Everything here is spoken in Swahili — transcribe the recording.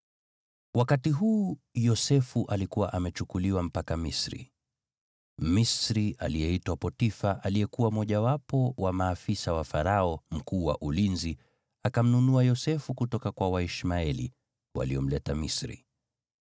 Wakati huu Yosefu alikuwa amechukuliwa mpaka Misri. Mmisri aliyeitwa Potifa aliyekuwa mmojawapo wa maafisa wa Farao, mkuu wa ulinzi, akamnunua Yosefu kutoka kwa Waishmaeli waliomleta Misri.